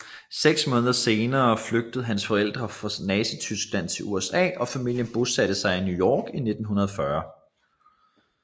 Seks måneder senere flygtede hans forældre fra Nazityskland til USA og familien bosatte sig i New York i 1940